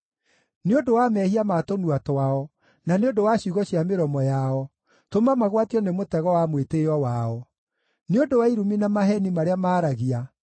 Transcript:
Nĩ ũndũ wa mehia ma tũnua twao, na nĩ ũndũ wa ciugo cia mĩromo yao, tũma magwatio nĩ mũtego wa mwĩtĩĩo wao. Nĩ ũndũ wa irumi na maheeni marĩa maaragia,